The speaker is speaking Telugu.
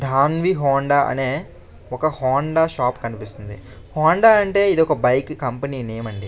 దానివి హోండా అనే ఒక హోండా షాప్ కనిపిస్తుంది హోండా అంటే ఇది ఒక బైక్ కంపెనీ నేమ్ అండి.